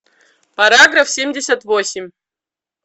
параграф семьдесят восемь